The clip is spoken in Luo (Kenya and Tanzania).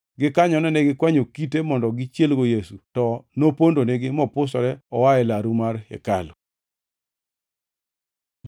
Gikanyono ne gikwanyo kite mondo gichielgo Yesu, to nopondonigi, mopusore oa e laru mar hekalu.